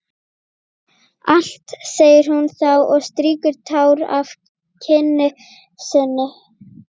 Allt, segir hún þá og strýkur tár af kinn sinni.